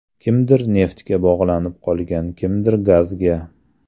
Kimdir neftga bog‘lanib qolgan, kimdir gazga.